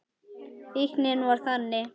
Fíknin var þannig.